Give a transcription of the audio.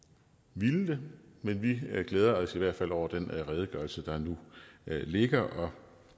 ville det men vi glæder os i hvert fald over den redegørelse der nu ligger og